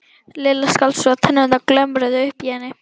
Lilla skalf svo að tennurnar glömruðu uppi í henni.